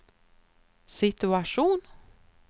situation